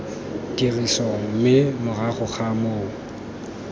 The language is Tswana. tirisong mme morago ga moo